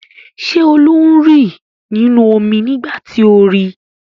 Ṣé Olú ń rì nínú omi nígbà tí o ri?